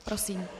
Prosím.